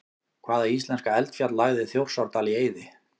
Hvaða íslenska eldfjall lagði Þjórsárdal í eyði?